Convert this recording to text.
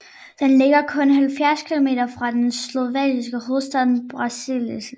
Den ligger kun 70 kilometer fra den slovakiske hovedstad Bratislava